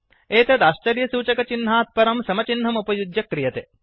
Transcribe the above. एतत् आश्चर्यसूचकचिह्नात् परं समचिह्नम् उपयुज्य क्रियते